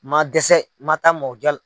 Ma dɛsɛ ma taa mɔgɔ